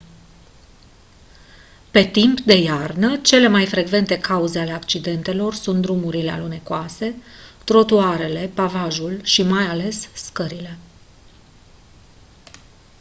pe timp de iarnă cele mai frecvente cauze ale accidentelor sunt drumurile alunecoase trotuarele pavajul și mai ales scările